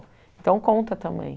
Então, conta também.